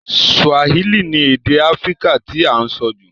Swahili ni èdè Africa ti a n so jù